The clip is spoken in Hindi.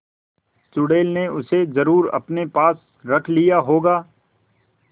चुड़ैल ने उसे जरुर अपने पास रख लिया होगा